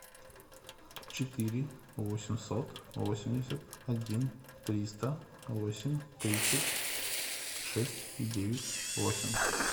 четыре восемьсот восемьдесят один триста восемь тридцать шесть девять восемь